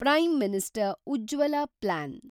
prime minister Ujjwala plan